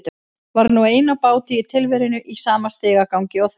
Var nú ein á báti í tilverunni í sama stigagangi og þau.